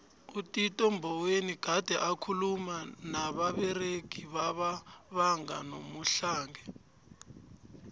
utito mboweni gade akhuluma nababeregi baba banga nomuhlange